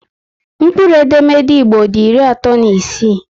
Mkpụrụ edemede Igbo dị iri atọ na isii